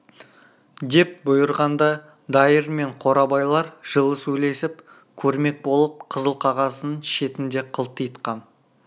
деп бұйырғанда дайыр мен қорабайлар жылы сөйлесіп көрмек болып қызыл қағаздың шетін де қылтитқан